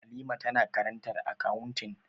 Halima tana karantar akawuntin